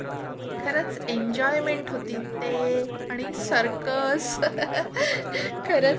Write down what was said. खरच एन्जॉयमेंट होती ते आणि सर्कस. Laugh खरच ना.